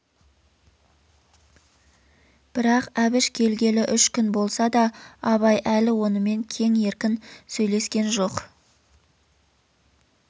бірақ әбіш келгелі үш күн болса да абай әлі онымен кең еркін сөйлескен жоқ